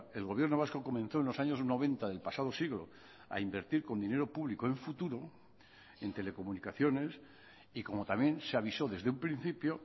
el gobierno vasco comenzó en los años noventa del pasado siglo a invertir con dinero público en futuro en telecomunicaciones y como también se avisó desde un principio